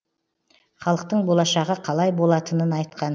халықтың болашағы қалай болатынын айтқан